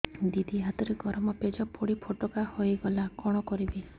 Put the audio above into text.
ଦିଦି ହାତରେ ଗରମ ପେଜ ପଡି ଫୋଟକା ହୋଇଗଲା କଣ କରିବି